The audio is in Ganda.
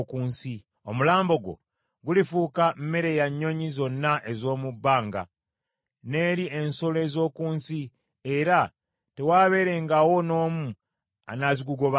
Omulambo gwo gulifuuka mmere ya nnyonyi zonna ez’omu bbanga, n’eri ensolo ez’oku nsi, era tewaabeerengawo n’omu anaazigugobangako.